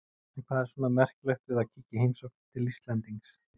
En hvað er svona merkilegt við að kíkja í heimsókn til Íslendings?